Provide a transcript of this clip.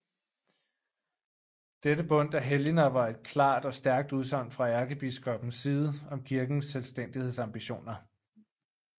Dette bundt af helgener var et klart og stærkt udsagn fra ærkebiskoppens side om kirkens selvstændighedsambitioner